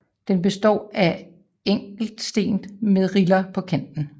Den består af en enkelt sten med riller på kanten